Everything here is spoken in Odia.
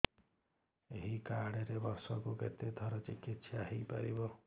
ଏଇ କାର୍ଡ ରେ ବର୍ଷକୁ କେତେ ଥର ଚିକିତ୍ସା ହେଇପାରିବ